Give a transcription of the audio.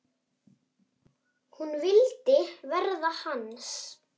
Hún vildi verða hans.